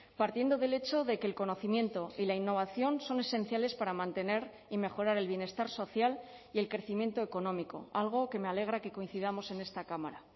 partiendo del hecho de que el conocimiento y la innovación son esenciales para mantener y mejorar el bienestar social y el crecimiento económico algo que me alegra que coincidamos en esta cámara